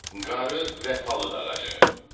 Qarı və palıd ağacı.